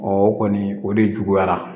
o kɔni o de juguyara